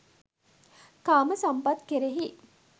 කාම සම්පත් කෙරෙහි